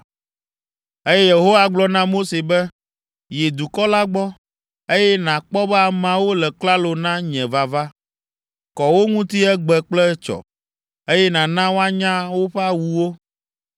Eye Yehowa gblɔ na Mose be, “Yi dukɔ la gbɔ, eye nàkpɔ be ameawo le klalo na nye vava. Kɔ wo ŋuti egbe kple etsɔ, eye nàna woanya woƒe awuwo.